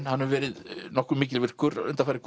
hann hefur verið nokkuð mikilvirkur undanfarið